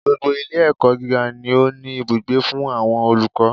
Gbogbo Ilé ẹ̀kọ́ gíga ni ó ní ibùgbé fún àwọn olùkọ́